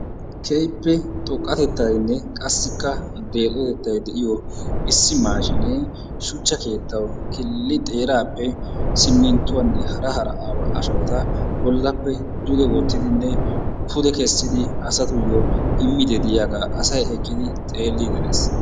Keehippe xoqqatettaynne qassikka deexotettay de'iyo issi maashinee shuchcha keettawu killi xeeraappe simminttuwan hara hara ashawata bollappe duge wottidinne pude kessidi asatuyo immidi de'iyagaa asay eqqidi xeeli erees.